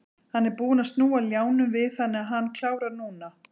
Hann er búinn að snúa ljánum við þannig að hann klárar núna.